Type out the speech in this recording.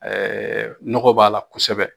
nɔgɔ b'a la kosɛbɛ